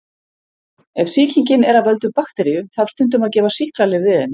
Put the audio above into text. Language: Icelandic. Ef sýkingin er af völdum bakteríu þarf stundum að gefa sýklalyf við henni.